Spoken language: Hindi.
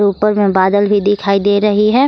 ऊपर में बादल भी दिखाई दे रही है।